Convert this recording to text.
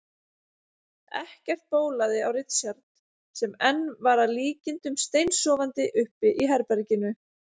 Ekkert bólaði á Richard sem enn var að líkindum steinsofandi uppi í herberginu.